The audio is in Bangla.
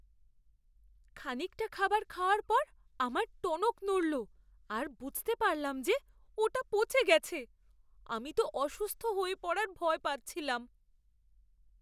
খানিকটা খাবার খাওয়ার পর আমার টনক নড়লো আর বুঝতে পারলাম যে ওটা পচে গেছে। আমি তো অসুস্থ হয়ে পড়ার ভয় পাচ্ছিলাম।